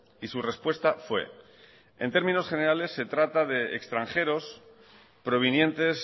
y su respuesta fue en términos generales se trata de extranjeros provenientes